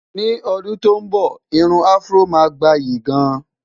ní ọdún tó nbọ, irún afro má gbayì gaan